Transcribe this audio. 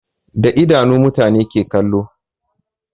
Da idanu mutane ke kallo